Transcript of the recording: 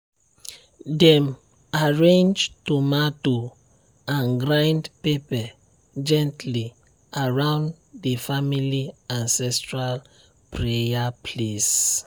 dem arrange tomato and grind pepper gently around the family ancestral prayer place.